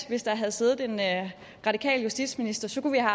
hvis der havde siddet en radikal justitsminister så kunne